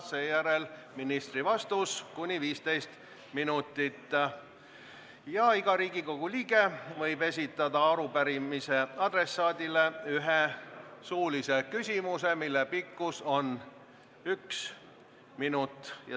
Seejärel on ministri vastus kuni 15 minutit ja iga Riigikogu liige võib esitada arupärimise adressaadile ühe suulise küsimuse, mille pikkus on kuni üks minut.